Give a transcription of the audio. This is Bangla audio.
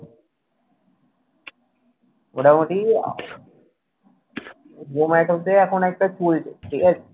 মোটামুটি EMI টা এখন একটা হচ্ছে কুয়েতে। ঠিক আছে।